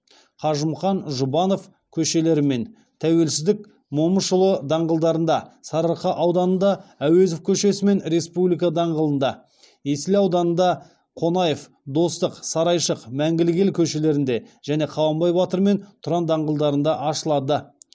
қажымұқан жұбанов көшелері мен тәуелсіздік момышұлы даңғылдарында сарыарқа ауданында әуезов көшесі мен республика даңғылында есіл ауданында қонаев достық сарайшық мәңгілік ел көшелерінде және қабанбай батыр мен тұран даңғылдарында ашылады